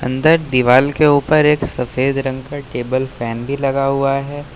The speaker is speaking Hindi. अंदर दीवाल के ऊपर एक सफेद रंग का टेबल फैन भी लगा हुआ है।